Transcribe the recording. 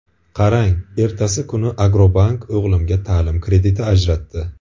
Qarang, ertasi kuni ‘Agrobank’ o‘g‘limga ta’lim krediti ajratdi.